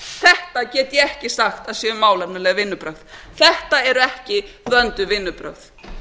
þetta get ég ekki sagt að séu málefnaleg vinnubrögð þetta eru ekki vönduð vinnubrögð